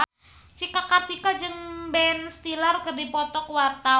Cika Kartika jeung Ben Stiller keur dipoto ku wartawan